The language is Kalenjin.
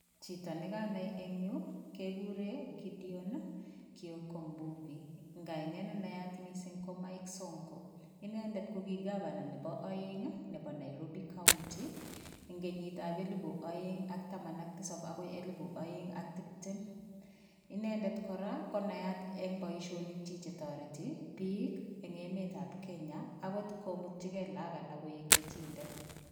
Chito nekanai en yuu kekuren Gedion kioko mbuvi en kainet nenayat ko Mike songo, inendet ko kii gavana nebo oeng nebo Nairobi county en kenyitab elibu oeng ak taman ak tisab akoi elibu oeng ak tibtem, inendet kora konayat en boishonikyik chetoreti biik en emetab Kenya akot komutii look alak koik chechiket.